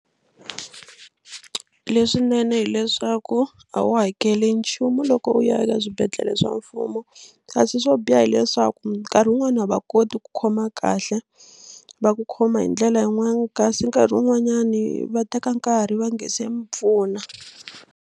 Leswinene hileswaku a wu hakeli nchumu loko u ya eka swibedhlele swa mfumo kasi swo biha hileswaku nkarhi wun'wani a va koti ku khoma kahle va ku khoma hi ndlela yin'wani kasi nkarhi wun'wanyani va teka nkarhi va nga se mi pfuna.